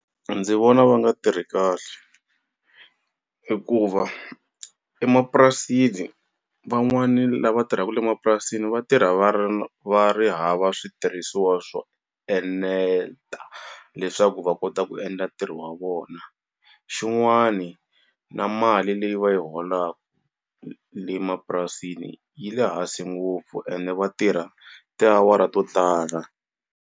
Ndzi vona va nga tirhi kahle hikuva emapurasini van'wani lava tirhaka emapurasini va tirha va ri va ri hava switirhisiwa swona eneta leswaku va kota ku endla ntirho wa vona, xin'wani na mali leyi va yi holaka le emapurasini yi le hansi ngopfu ene vatirha tiawara to tala.